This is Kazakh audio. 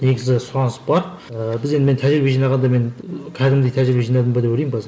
негізі сұраныс бар ы біз енді мен тәжірибе жинағанда мен қәдімгідей тәжірибе жинадым ба деп ойлаймын қазір